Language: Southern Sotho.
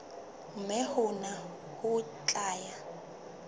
mme hona ho tla ya